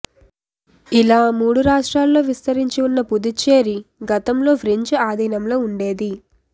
ఇలా మూడు రాష్ట్రాల్లో విస్తరించి ఉన్న పుదుచ్చేరి గతంలో ఫ్రెంచ్ ఆధీనంలో ఉండేది